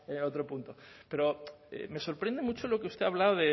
en otro punto pero me sorprende mucho lo que usted ha hablado